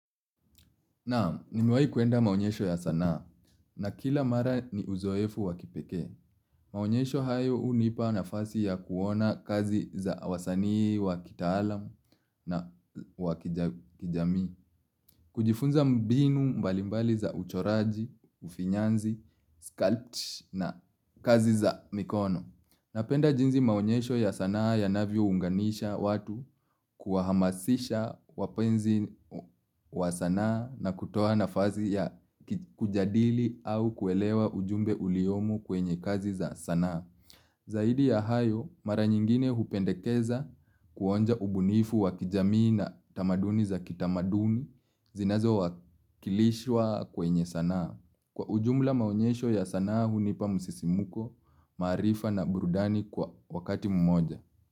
Naam, nimewahi kwenda maonyesho ya sanaa na kila mara ni uzoefu wa kipekee. Maonyesho hayo hunipa nafasi ya kuona kazi za wasanii wa kitaalamu na wa kijamii. Kujifunza mbinu mbalimbali za uchoraji, ufinyanzi, sculpt na kazi za mikono. Napenda jinsi maonyesho ya sanaa yanavyounganisha watu kuwahamasisha wapenzi wa sanaa na kutoa nafasi ya kujadili au kuelewa ujumbe uliomo kwenye kazi za sanaa. Zaidi ya hayo, mara nyingine hupendekeza kuonja ubunifu wakijamii na tamaduni za kitamaduni zinazowakilishwa kwenye sanaa. Kwa ujumla maonyesho ya sanaa hunipa msisimko, maarifa na burudani kwa wakati mmoja.